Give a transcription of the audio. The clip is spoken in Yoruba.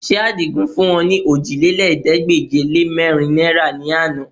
Ṣé Àdìgún fún ọ ní ọòjìlélẹ́ẹ̀ẹ́dégbèje-lé-mẹ́rin náìrà ní àná?